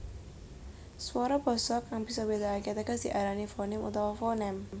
Swara basa kang bisa mbédakake teges diarani fonim utawa fonèm